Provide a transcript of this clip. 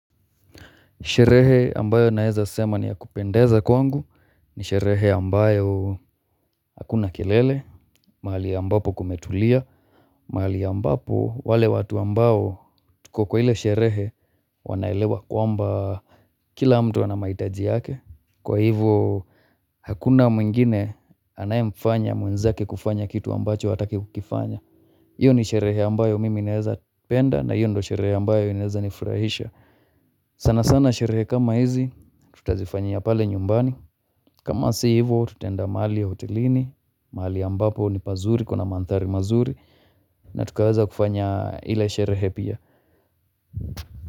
Sherehe ambayo naweza sema ni ya kupendeza kwangu ni sherehe ambayo hakuna kelele, mahali ambapo kumetulia, mahali ambapo wale watu ambao tuko kwa ile sherehe wanaelewa kwa mba kila mtu anamahitaji yake. Kwa hivo hakuna mwingine anae mfanya mwenzake kufanya kitu ambacho hataki kufanya. Iyo ni sherehe ambayo mimi naeza penda na iyo ndo sherehe ambayo naeza nifurahisha. Sana sana sherehe kama hizi tutazifanya ya pale nyumbani. Kama si hivo tutaenda mahali ya hotelini, mahali ya ambapo ni pazuri kuna mandhari mazuri na tukaweza kufanya ile sherehe pia.